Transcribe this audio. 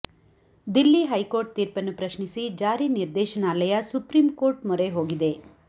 Delhi high court ತೀರ್ಪನ್ನು ಪ್ರಶ್ನಿಸಿ ಜಾರಿ ನಿರ್ದೇಶನಾಲಯ ಸುಪ್ರೀಂಕೋರ್ಟ್ ಮೊರೆ ಹೋಗಿದೆ